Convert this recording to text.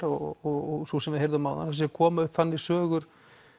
og sú sem við heyrðum áðan það séu að koma upp þannig sögur